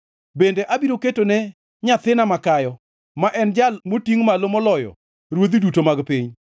Bende abiro ketone nyathina makayo, ma en Jal motingʼ malo moloyo ruodhi duto mag piny.